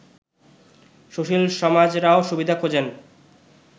সুশীল সমাজরাও সুবিধা খোঁজেন